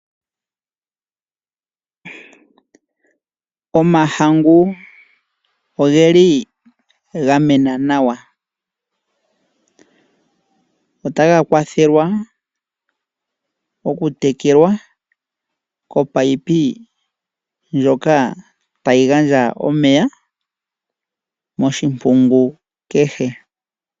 Omahangu oge li ga mena nawa. Otaga kwathelwa okutekelwa kopaipi ndjoka tayi gandja omeya moshimpungu kehe.